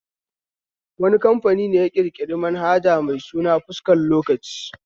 Wani kamfani ne ya ƙirƙiri manhaja mai suna fuskar lokaci?